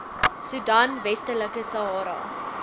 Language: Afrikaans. soedan westelike sahara